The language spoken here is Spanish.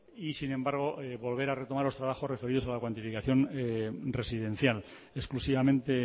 y sin embargo volver a retomar los trabajos referidos a la cuantificación residencial exclusivamente